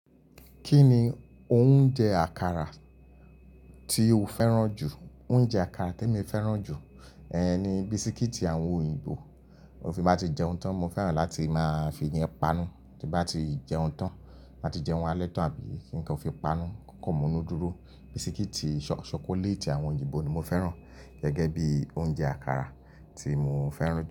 Kí ni oúnjẹ àkàrà tí o fẹ́ràn jù? Oúnjẹ àkàrà tèmi fẹ́ràn jù, ẹh ẹh ẹh ni bisikíìtì àwọn òyìnbó. Ti n fi bá ti jẹun tán, mo fẹ́ràn láti máa fi yẹn pa nù tí n bá ti jẹun tán, bá ti jẹun alẹ́ tán àbí kí nǹkan fi panu, kò kan munu dúró. Bisikíìtì ṣọkọlẹ́ẹ̀tì àwọn òyìnbó ni mo fẹ́ràn gẹ́gẹ́ bí oúnjẹ àkàrà tí mo fẹ́ràn jù.